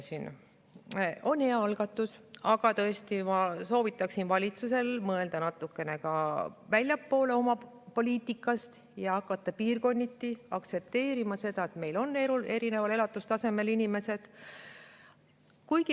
See on hea algatus, aga tõesti, ma soovitaksin valitsusel mõelda natukene ka väljapoole oma poliitikast ja hakata piirkonniti aktsepteerima seda, et meie inimeste elatustase on erinev.